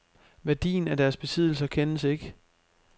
Værdien af deres besiddelser kendes ikke.